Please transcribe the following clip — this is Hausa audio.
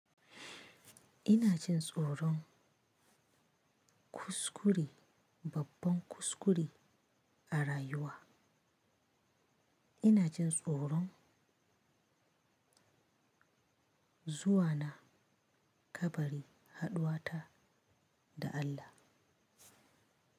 Ina jin tsoron kuskure, babban kuskure a rayuwa. Ina jin tsoron zuwa na kabari, haɗuwa ta da Allah.